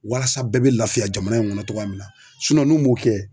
Walasa bɛɛ bɛ lafiya jamana in kɔnɔ cogoya min na n'u m'o kɛ.